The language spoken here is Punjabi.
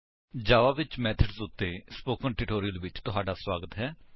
ਜਾਵਾ ਵਿੱਚ ਮੇਥਡਸ ਉੱਤੇ ਸਪੋਕਨ ਟਿਊਟੋਰਿਅਲ ਵਿੱਚ ਤੁਹਾਡਾ ਸਵਾਗਤ ਹੈ